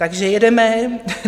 Takže jedeme.